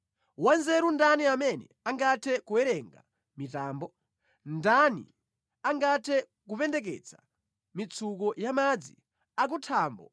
Wanzeru ndani amene angathe kuwerenga mitambo? Ndani angathe kupendeketsa mitsuko ya madzi akuthambo